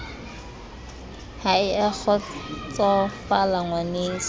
ha e a kgotsosofala ngwaneso